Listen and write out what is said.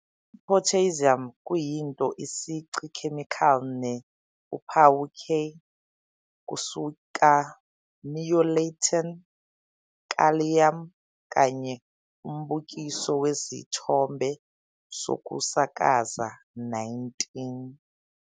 Potassium kuyinto isici chemical ne uphawu K, kusuka Neo-Latin "kalium", kanye Umbukiso Wesithombe Sokusakaza 19.